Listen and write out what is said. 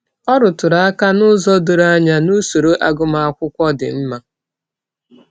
Ọ rụtụrụ aka n’ụzọ doro anya n’usoro agụmakwụkwọ dị mma.